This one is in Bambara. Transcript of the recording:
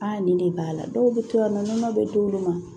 nin de b'a la dɔw bɛ to yan nɔ bɛ d'olu ma